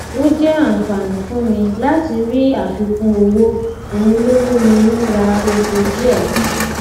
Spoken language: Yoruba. ó jẹ àǹfààní fún mi láti rí àfikún owó òhun ló mú mi ń ra epo díẹ si